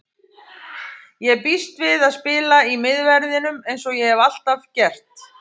Ég býst við að spila í miðverðinum eins og ég hef alltaf gert.